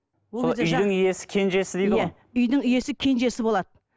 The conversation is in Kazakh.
үйдің иесі кенжесі дейді ғой үйдің иесі кенжесі болады